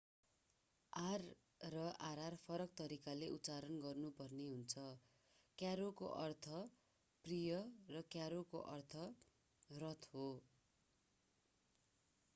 r र rr फरक तरिकाले उच्चारण गर्नु पर्ने हुन्छ: क्यारोcaro को अर्थ प्रिय र क्यारोcarro को अर्थ रथ हो।